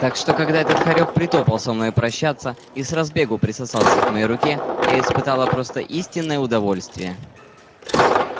так что когда этот хорёк притопал со мной прощаться и с разбегу присосался к моей руке я испытала просто истинное удовольствие